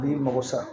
N'i mago sɔrɔ